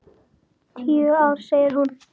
Tíu ár, sagði hún.